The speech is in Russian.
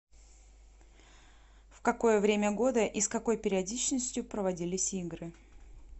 в какое время года и с какой периодичностью проводились игры